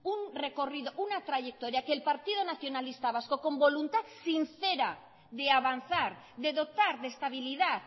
un recorrido una trayectoria que el partido nacionalista vasco con voluntad sincera de avanzar de dotar de estabilidad